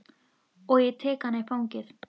Og ég tek hana í fangið.